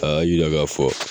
Aa ye o ye a bɛ k'a fɔ